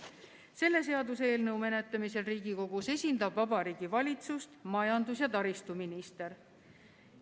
Selle eelnõu menetlemisel Riigikogus esindab Vabariigi Valitsust majandus‑ ja taristuminister.